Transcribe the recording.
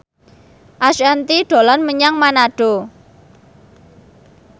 Ashanti dolan menyang Manado